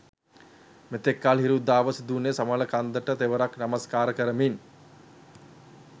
මෙතෙක්කල් හිරු උදාව සිදුවුණේ සමනල කන්දට තෙවරක් නමස්කාර කරමින්.